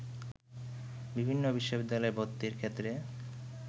বিভিন্ন বিশ্ববিদ্যালয়ে ভর্তির ক্ষেত্রে